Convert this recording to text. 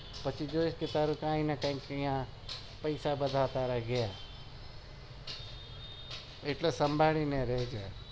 પછી જો તારે કાઈ ને કઈ પેસા બધા ગયા એટલે સભાળીને રેજે